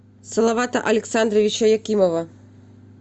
салавата александровича якимова